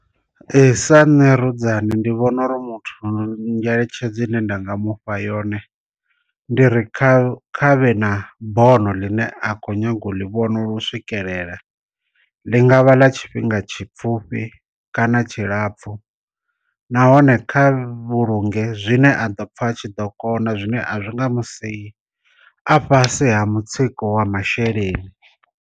Ee sa nṋe rudzani ndi vhona uri muthu ngeletshedzo i ne nda nga mufha yone ndi ri kha kha vhe na bono ḽine a kho nyaga u ḽi vhona lu swikelela, ḽi nga vha ḽa tshifhinga tshi pfhufhi kana tshi lapfu nahone kha vhulunge zwine a ḓo pfha a tshi ḓo kona zwine a zwi nga musiyi a fhasi ha mutsiko wa masheleni.